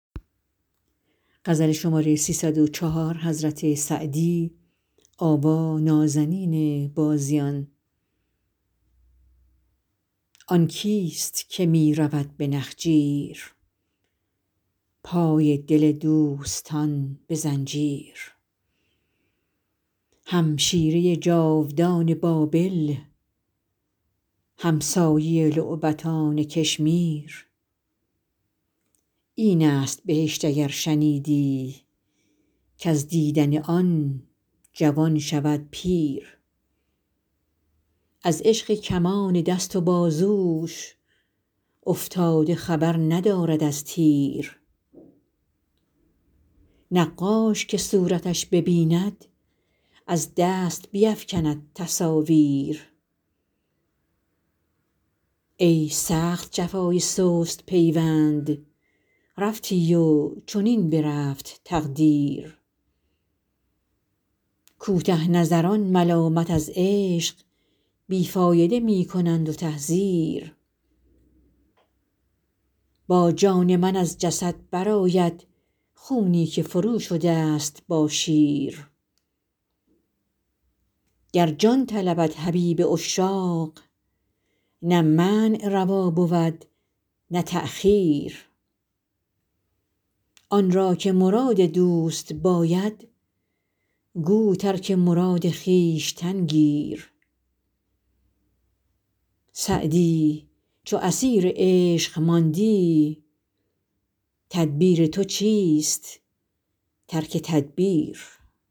آن کیست که می رود به نخجیر پای دل دوستان به زنجیر همشیره جادوان بابل همسایه لعبتان کشمیر این است بهشت اگر شنیدی کز دیدن آن جوان شود پیر از عشق کمان دست و بازوش افتاده خبر ندارد از تیر نقاش که صورتش ببیند از دست بیفکند تصاویر ای سخت جفای سست پیوند رفتی و چنین برفت تقدیر کوته نظران ملامت از عشق بی فایده می کنند و تحذیر با جان من از جسد برآید خونی که فروشده ست با شیر گر جان طلبد حبیب عشاق نه منع روا بود نه تأخیر آن را که مراد دوست باید گو ترک مراد خویشتن گیر سعدی چو اسیر عشق ماندی تدبیر تو چیست ترک تدبیر